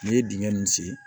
N'i ye dingɛ nunnu sen